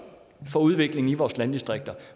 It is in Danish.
for udviklingen i vores landdistrikter